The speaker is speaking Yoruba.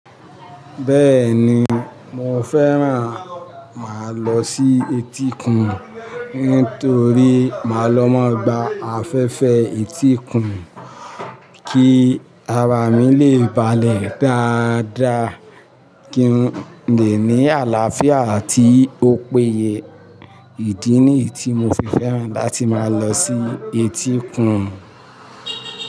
Bẹ́ẹ̀ ni, mo fẹ́ràn mà lọ sí etíkun nítorí mà lọ máa gba afẹ́fẹ́ etíkun, kí ara mi le ba'lẹ̀ dáadáa, kí n le ní àlàáfíà àti òpóye. Ìdí nìyi tí mo fi fẹ́ràn láti máa lọ sí etíkun.